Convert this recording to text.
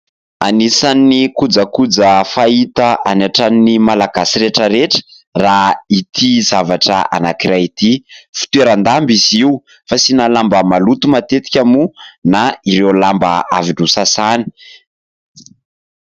Anisany kojakoja fahita any an-tranon'ny Malagasy rehetra rehetra raha ity zavatra anankiray ity. Fitoeran-damba izy io, fasiana lamba maloto matetika moa na ireo lamba avy nosasaina.